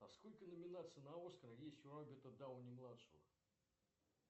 а сколько номинаций на оскар есть у роберта дауни младшего